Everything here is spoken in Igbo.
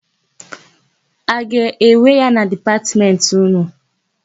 A ga-ewe ya na Dipatmentị ụnụ?